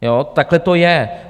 Takhle to je.